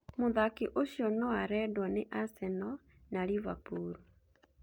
Mũthaki ũcio noarendwo nĩ Arsenal na Liverpool